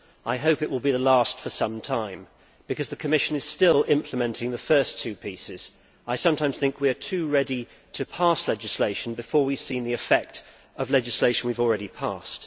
I hope it will be the last for some time, because the Commission is still implementing the first two pieces. I sometimes think we are too ready to pass legislation before we have seen the effect of the legislation we have already passed.